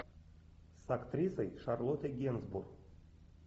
с актрисой шарлоттой генсбур